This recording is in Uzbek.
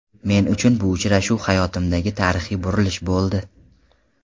Men uchun bu uchrashuv hayotimdagi tarixiy burilish bo‘ldi.